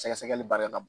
Sɛgɛsɛgɛli baara la